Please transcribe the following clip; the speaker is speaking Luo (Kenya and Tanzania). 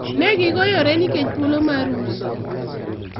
negigoyore nikech thuolo mar uso